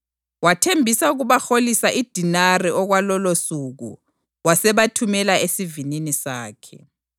Wathembisa ukubaholisa idenari okwalolosuku wasebathumela esivinini sakhe.